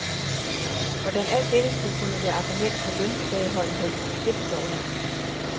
Hvordan alt dette skulle kunne være argument for løntilbageholdenhed, det forstår jeg ikke.